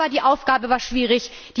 Aber die Aufgabe war schwierig.